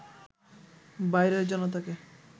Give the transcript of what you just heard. বাইরের জনতাকে